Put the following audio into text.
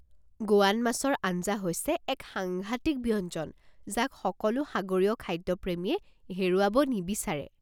গোৱান মাছৰ আঞ্জা হৈছে এক সাংঘাতিক ব্যঞ্জন যাক সকলো সাগৰীয় খাদ্য প্ৰেমীয়ে হেৰুৱাব নিবিচাৰে।